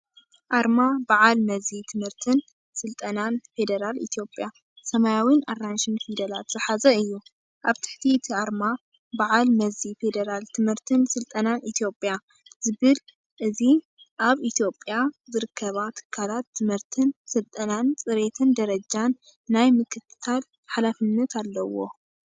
ኣርማ በዓል መዚ ትምህርትን ስልጠናን ፌደራል ኢትዮጵያ። ሰማያውን ኣራንሺን ፊደላት ዝሓዘ እዩ። ኣብ ትሕቲ እቲ ኣርማ "በዓል መዚ ፌደራል ትምህርትን ስልጠናን ኢትዮጵያ" ዝብሉን. እዚ ኣብ ኢትዮጵያ ዝርከባ ትካላት ትምህርትን ስልጠናን ፅሬትን ደረጃን ናይ ምክትታል ሓላፍነት ኣለዎ።